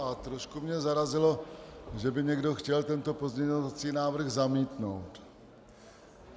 A trošku mě zarazilo, že by někdo chtěl tento pozměňovací návrh zamítnout.